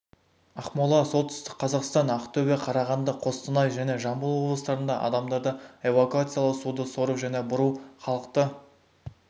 ақмола солтүстік қазақстан ақтөбе қарағанды қостанай және жамбыл облыстарында адамдарды эвакуациялау суды сору және бұру халықты